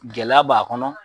Gɛlɛya b'a kɔnɔ,